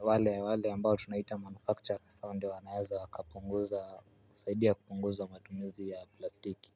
wale ambao tunaita manufactures hao ndo wanaeza wakapunguza kusaidia kupunguza matumizi ya plastiki.